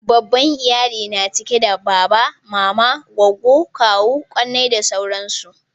babban iyali na cike da baba mama goggo kawu kakanni da sauransu